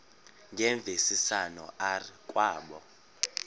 ngemvisiswano r kwabo